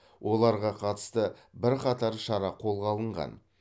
оларға қатысты бірқатар шара қолға алынған